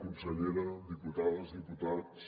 consellera diputades diputats